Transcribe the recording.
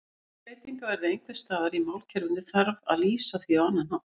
Ef breytingar verða einhvers staðar í málkerfinu þarf að lýsa því á annan hátt.